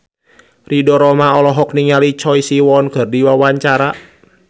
Ridho Roma olohok ningali Choi Siwon keur diwawancara